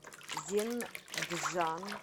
зенджан